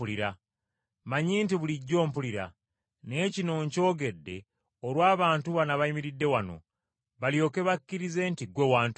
Mmanyi nti bulijjo ompulira, naye kino nkyogedde olw’abantu bano abayimiridde wano, balyoke bakkirize nti ggwe wantuma.”